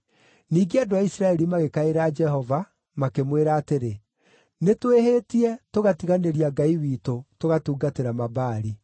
Ningĩ andũ a Isiraeli magĩkaĩra Jehova makĩmwĩra atĩrĩ, “Nĩtwĩhĩtie, tũgatiganĩria Ngai witũ, tũgatungatĩra Mabaali.”